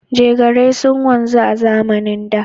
Jegarai sun wanzu a zamanin da.